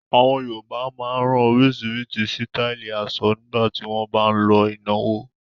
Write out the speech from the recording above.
Àwọn Yorùbá máa ń rán oríṣiríṣi sítáálì aṣọ nígbà tí wọ́n bá ń lọ ìnáwó.